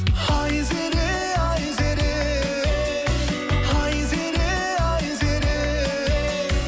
айзере айзере айзере айзере